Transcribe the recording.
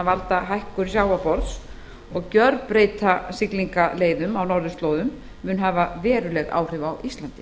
valda hækkun sjávarborðs og gjörbreyta siglingaleiðum á norðurslóðum mun hafa veruleg áhrif á íslandi